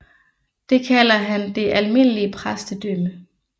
Det kalder han det almindelige præstedømme